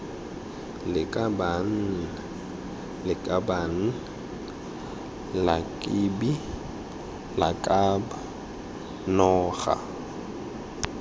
lakabaaan lakaban lakbi lakab noga